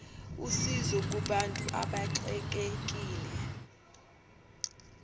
usizo kubantu abaxekekile